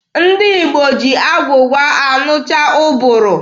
Ndị Igbo ji agwụgwa anụcha ụbụrụ.